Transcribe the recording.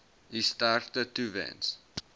u sterkte toewens